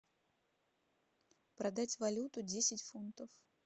продать валюту десять фунтов